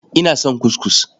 Ina son kuskus.